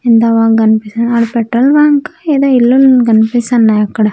ఎంత బాగా కనిపిస్తున్న ఆడ పెట్రోల్ బంకు ఏదో ఇల్లులు కనిపిస్తున్నాయి అక్కడ.